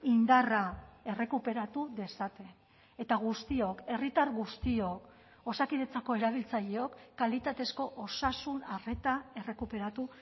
indarra errekuperatu dezaten eta guztiok herritar guztiok osakidetzako erabiltzaileok kalitatezko osasun arreta errekuperatu